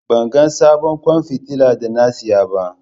Ban ga sabon kwan fitila da na saya ba